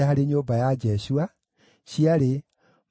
na Barikosi, na Sisera, na Tema,